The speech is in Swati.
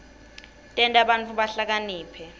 tenta bantfu bahlakaniphe